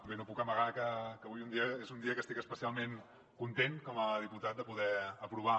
bé no puc amagar que avui és un dia que estic especialment content com a diputat de poder aprovar